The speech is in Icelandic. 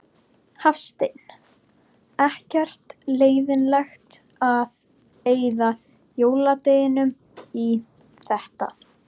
Hafsteinn: Ekkert leiðilegt að eyða jóladeginum í þetta?